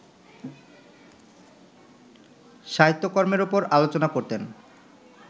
সাহিত্যকর্মের ওপর আলোচনা করতেন